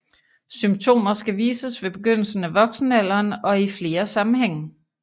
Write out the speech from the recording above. Symptomer skal vises ved begyndelsen af voksenalderen og i flere sammenhænge